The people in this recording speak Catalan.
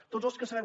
tots els que sabem